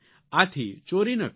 આથી ચોરી ન કરો